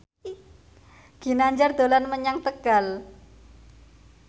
Ginanjar dolan menyang Tegal